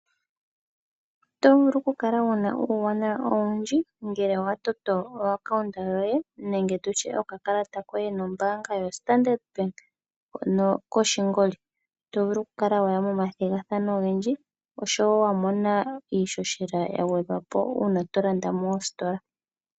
Otovulu okukala wuna uwanawa owundji ngele watoto o akawuta yoye nenge tutye okakalata koye nombanga yo Standard Bank hono koshingoli, tovulu okukala waya moma thingathano ongendji oshowo wamona ishoshela yangwedhwapo una tolanda mositola.